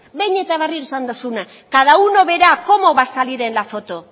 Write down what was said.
behin eta berriro esan duzuna cada uno verá cómo va a salir en la foto